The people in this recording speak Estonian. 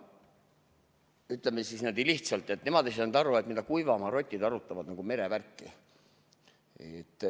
Lihtsalt öeldes nemad ei saanud aru, kuidas kuivamaarotid merevärki arutavad.